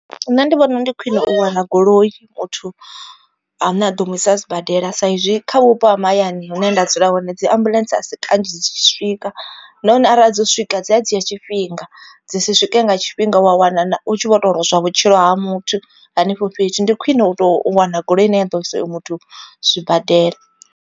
Nṋe ndi vhona ndi khwine u wana goloi muthu ane a ḓo mu isa sibadela sa izwi kha vhupo ha mahayani hune nda dzula hone dzi ambuḽentse a si kanzhi dzi tshi swika. Nahone arali dzo swika dzi a dzhia tshifhinga dzi si swike nga tshifhinga wa wana u tshi vho to lozwa vhutshilo ha muthu hanefho fhethu. Ndi khwine u tou wana goloi ine ya ḓo isa oyo muthu zwibadela.